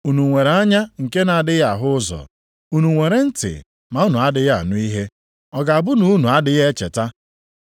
Unu nwere anya nke na-adịghị ahụ ụzọ? Unu nwere ntị ma unu adịghị anụ ihe? Ọ ga-abụ na unu adịghị echeta?